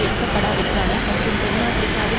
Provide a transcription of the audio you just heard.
எடுக்கப்படாவிட்டாலும் மற்றும் தென் ஆபிரிக்காவில்